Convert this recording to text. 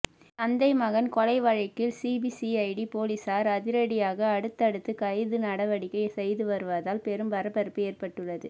தந்தை மகன் கொலை வழக்கில் சிபிசிஐடி போலீசார் அதிரடியாக அடுத்தடுத்து கைது நடவடிக்கை செய்து வருவதால் பெரும் பரபரப்பு ஏற்பட்டுள்ளது